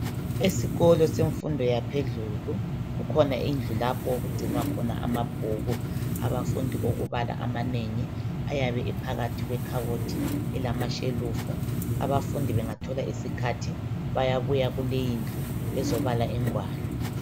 Esikolo semfundo yaphedlulu. Kukhona indlu lapho okugcinwa khona amabhuku. Abafundi okubala amanengi. Ayabe ephakathi kwekhabothi, elamashelufu. Abafundi bengathola isikhathi, bayabuya kule indlu, bezebala ingwalo.